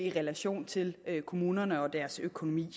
i relation til kommunerne og deres økonomi